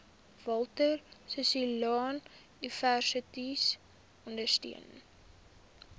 walter sisuluuniversiteit ondersteun